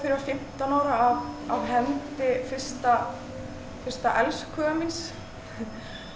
var fimmtán ára af hendi fyrsta fyrsta elskhuga míns